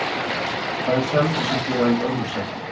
Hvað er Selfoss að gera í öðru sætinu?